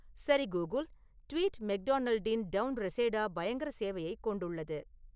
சரி Google tweet மெக்டொனால்டின் town Reseda பயங்கர சேவையை கொண்டுள்ளது